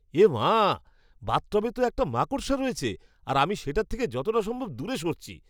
এ মা! বাথটবে তো একটা মাকড়সা রয়েছে আর আমি সেটার থেকে যতটা সম্ভব দূরে সরছি।